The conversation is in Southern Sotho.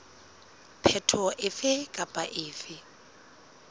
phetoho efe kapa efe e